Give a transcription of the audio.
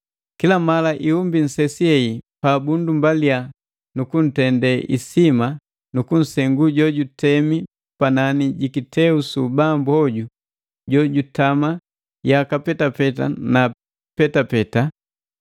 Kila mala ihumbi nsesi hei pa bunndumbalia nu kuntende isima nu kunsengu jo jutemi panani ji kiteu su ubambu hoju jo jutama yaka petapeta na petapeta,